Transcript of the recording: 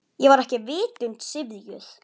Ég var ekki vitund syfjuð.